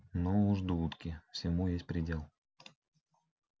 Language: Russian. ну уж дудки всему есть предел